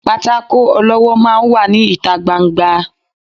pàtàkó olọwọ máà ń wà ní itá gbá- n-gbà